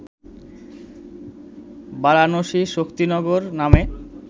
বারানসি-শক্তিনগর নামে